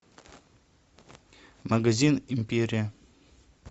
магазин империя